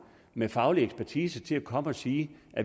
med faglig ekspertise til at komme og sige